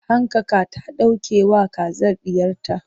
hankaka ta ɗauke wa kazar ɗiyarta